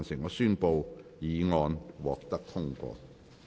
我宣布議案獲得通過。